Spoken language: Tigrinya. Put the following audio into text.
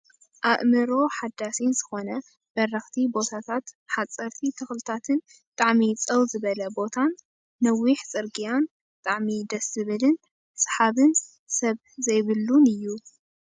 ኣእምሮካ ሓዳሲ ዝኮነ በረክቲ ቦታታት ሓፀርቲ ተክልታትን ብጣዕሚ ፀው ዝበለ ቦታን ነዊሕ ፅርግያን ብጣዕሚ ደስ ዝብልን ስሓብን ሰብ ዘይብለን እዩ።